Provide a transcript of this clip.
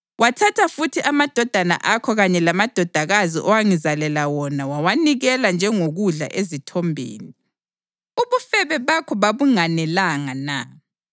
Wathatha futhi amadodana akho kanye lamadodakazi owangizalela wona wawanikela njengokudla ezithombeni. Ubufebe bakho babunganelanga na?